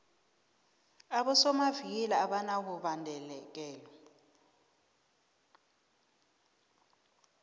abosomavikili abanabubhadekelo